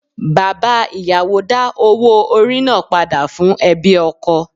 Bàbá ìyàwó dá owó orí náà padà fún ẹbí ọkọ.